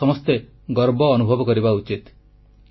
ଏଥିପାଇଁ ଆମେ ସମସ୍ତେ ଗର୍ବ ଅନୁଭବ କରିବା ଉଚିତ